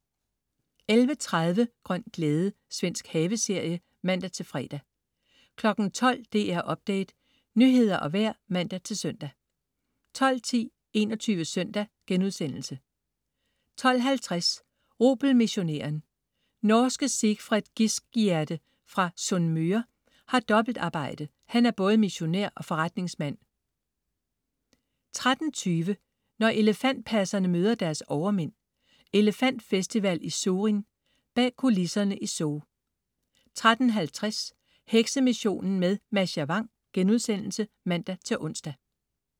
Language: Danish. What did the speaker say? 11.30 Grøn glæde. Svensk haveserie (man-fre) 12.00 DR Update, nyheder og vejr (man-søn) 12.10 21 Søndag* 12.50 Rubelmissionæren. Norske Sigfred Giskegjerde fra Sunnmøre har dobbeltarbejde: han er både missionær og forretningsmand 13.20 Når elefantpasserne møder deres overmænd. Elefantfestival i Surin. Bag kulisserne i zoo 13.50 Heksemissionen med Mascha Vang* (man-ons)